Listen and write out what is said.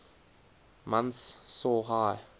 months saw high